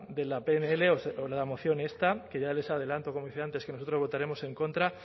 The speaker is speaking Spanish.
de la pnl o de la moción esta que ya les adelanto como decía antes que nosotros votaremos en contra